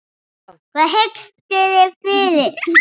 Hvað hyggist þér fyrir?